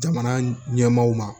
Jamana ɲɛmaaw ma